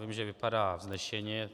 Vím, že vypadá vznešeně.